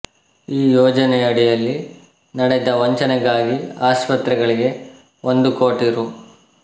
ಈ ಯೋಜನೆಯಡಿಯಲ್ಲಿ ನಡೆದ ವಂಚನೆಗಾಗಿ ಆಸ್ಪತ್ರೆಗಳಿಗೆ ಒಂದು ಕೋಟಿ ರೂ